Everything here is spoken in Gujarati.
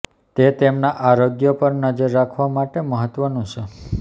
તે તેમના આરોગ્ય પર નજર રાખવા માટે મહત્વનું છે